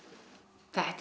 þetta er